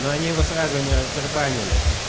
ну они бы сразу не раздербанили